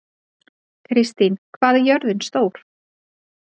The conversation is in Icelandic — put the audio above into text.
Kristín, hvað er jörðin stór?